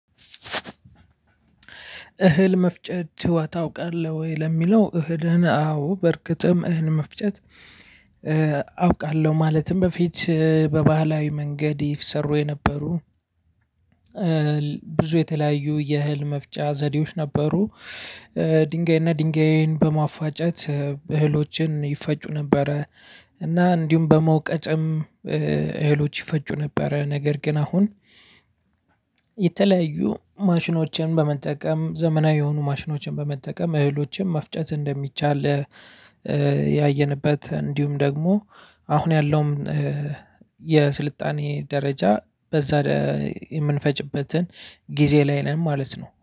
እህል መፍጨት ታውቃለህ ወይ ለሚለው እህልህን? አዎ በእርግጥም እህል መፍጨት አውቃለሁ። ማለትም በፊት በባህላዊ መንገድ ይሰሩ የነበሩ ብዙ የተለያዩ የእህል መፍጫ ዘዴዎች ነበሩ። ድንጋይና ድንጋይን በማፋጨት እህሎችን ይፈጩ ነበረ። እና እንዲሁም በመውቀጫም እህሎች ይፈጩ ነበረ ነገር ግን አሁን። የተለያዩ ማሽኖችን በመጠቀም ዘመናዊ የሆኑ ማሽኖችን በመጠቀም እህሎችን መፍጨት እንደሚቻል። ያየንበት እንዲሁም ደግሞ አሁን ያለውም የስልጣኔ ደረጃ በዛ የምንፈጭበትን ጊዜ ላይ ነን ማለት ነው